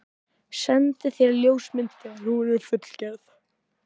Sendi þér ljósmynd þegar hún er fullgerð.